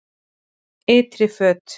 Ytri föt